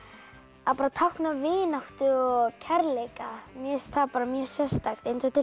að tákna vináttu og kærleika mér finnst það mjög sérstakt